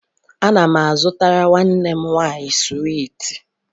Ana m a zụtara nwanne m nwaanyị swiiti